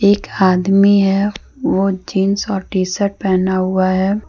एक आदमी है ओ जींस और टी_शर्ट पहना हुआ है।